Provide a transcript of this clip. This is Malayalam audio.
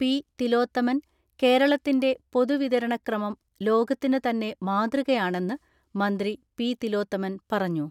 പി.തിലോത്തമൻ കേരളത്തിന്റെ പൊതുവിതരണക്രമം ലോകത്തിനു തന്നെ മാതൃകയാണെന്ന് മന്ത്രി പി.തിലോത്തമൻ പറഞ്ഞു.